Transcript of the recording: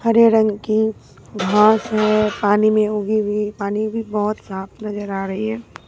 हरे रंग की घास है पानी में उगी हुई पानी भी बहुत साफ नजर आ रही है।